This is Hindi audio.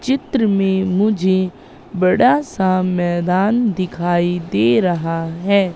चित्र में मुझे बड़ा सा मैदान दिखाई दे रहा है।